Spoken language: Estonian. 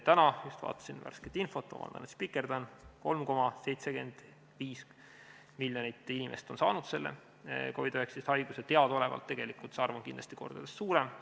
Täna just vaatasin värsket infot – vabandust, et spikerdan –, 3,75 miljonit inimest on saanud teadaolevalt COVID-19 haiguse, tegelikult on see arv kindlasti mitu korda suurem.